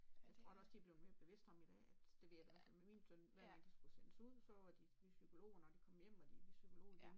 Jeg tror da også de er blevet mere bevidst om i dag at det ved jeg da i hvert fald med min søn når de skulle sendes ud så var de ved psykologen og når de kom hjem var de ved psykolog igen